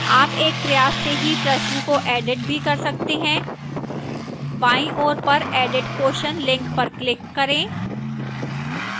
आप एक प्रयास से ही प्रश्न को edit भी कर सकते हैं बाईं ओर पर edit question लिंक पर क्लिक करें